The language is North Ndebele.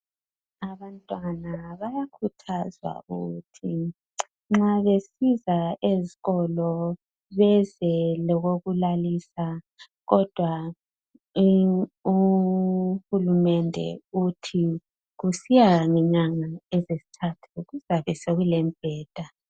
Abantwana bayakhuthazwa ukuthi nxa besiza esikolo beze lokokulalisa kodwa uhulumende uthi kusiya ngenyanga ezintathu kuyabe sekulembheda.